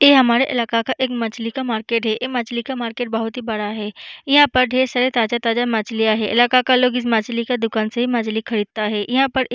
इ हमारे इलाका का मछली का मार्केट है इ मछली का मार्केट बहुत बड़ा है यहाँ ढेर सारा ताज़ा ताज़ा ढेर सारा मछलियां है इलाका का लोग इस मछलियां दुकान से खरीदता है इहा पर एक --